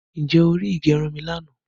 Ǹjẹ́ o ri ìgẹrun mi lànà